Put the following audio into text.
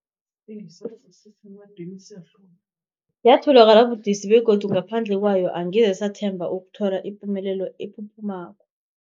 Yatholakala budisi, begodu ngaphandle kwayo angeze sathemba ukuthola ipumelelo ephuphumako.